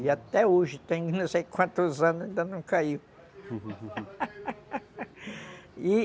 E até hoje, tem não sei quantos anos, ainda não caiu